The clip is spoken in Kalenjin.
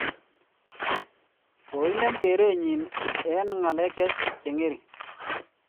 ko inem kerenyi eng ng'alek che ngering'